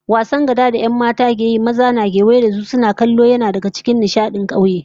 Wasar gada da 'yan mata sukan yi, maza na kewaye da su suna kallo, yana daga cikin nishadin kauye